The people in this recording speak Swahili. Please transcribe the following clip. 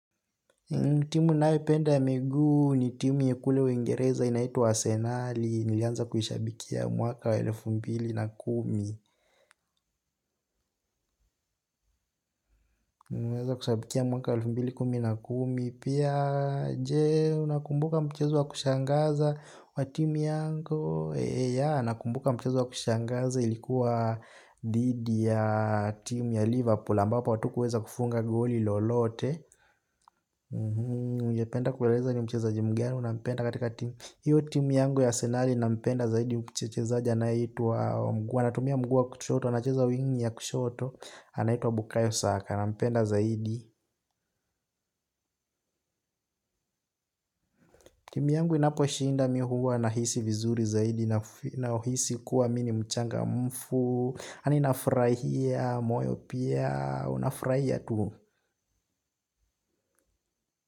Timu nayoipenda ya miguu ni timu ya kule wengereza inaitu wa Senali nilianza kushabikia mwaka wa elfu mbili na kumi. Nilianza kushabikia mwaka wa elfu mbili kumi na kumi pia jee unakumbuka mchezu wa kushangaza wa timu yangu. Eee yaa nakumbuka mchezo wa kushangaza ilikuwa dhidi ya timu ya Liverpool ambapo hatukuweza kufunga goli lolote. Ujependa kuweleza ni mcheza jimgenu na mpenda katika tim. Hiyo tim yangu ya senari na mpenda zaidi mchezaji anayeitwa wa mguu wa wanatumia mguu wa kushoto, anacheza wingi ya kushoto. Anaitwa bukayo saka nampenda zaidi. Timu yangu inaposhinda mihuwa nahisi vizuri zaidi. Na hisi kuwa mimi ni mchangamfu. Yaani nafurahia, moyo pia, unafurahia tu.